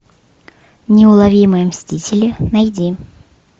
неуловимые мстители найди